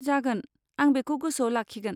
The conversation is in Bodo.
जागोन, आं बेखौ गोसोआव लाखिगोन।